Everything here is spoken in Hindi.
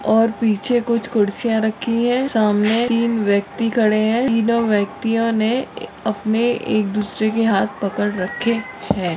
और पिछे कुछ खुर्चिया रखी है सामने तीन व्यक्ति खड़े है तीनों व्यक्तियोने अपने एक दूसरे के हाथ पकड़ के रखे है।